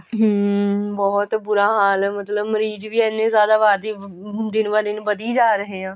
ਹਮ ਬਹੁਤ ਬੁਰਾ ਹਾਲ ਮਤਲਬ ਮਰੀਜ ਵੀ ਇੰਨੇ ਜਿਆਦਾ ਵਾ ਜੀ ਹੁਣ ਦਿਨ ਬਾ ਦਿਨ ਵੱਧੀ ਜਾ ਰਹੇ ਆ